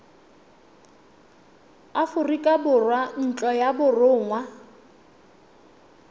aforika borwa ntlo ya borongwa